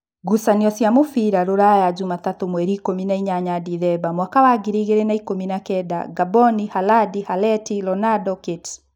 Ngucanio cia mũbira Ruraya Jumatatũ mweri ikũmi nainyanya ndithemba mwaka wa ngiri igĩrĩ na ikũmi na kenda: Ngamboni, Halandi, Haleti, Ronando, Kate